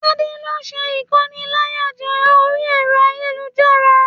Tade ló n sé ikóníláyàjẹ̀ orí ẹrọ ayélujára.